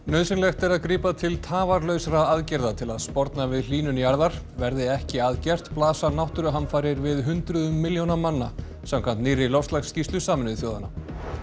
nauðsynlegt er að grípa til tafarlausra aðgerða til að sporna við hlýnun jarðar verði ekki að gert blasa náttúruhamfarir við hundruðum milljóna manna samkvæmt nýrri loftslagsskýrslu Sameinuðu þjóðanna